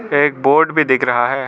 एक बोर्ड भी दिख रहा है।